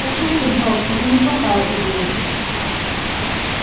послушай джордж это неплохая идея